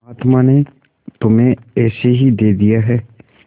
महात्मा ने तुम्हें ऐसे ही दे दिया है